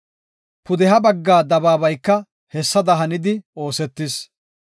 Pudeha bagga dabaabayka hessada hanidi oosetis.